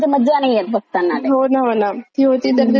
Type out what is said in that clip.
ती होती तर ते जुने एपिसोड छान वाटतात अजूनही पाहायला.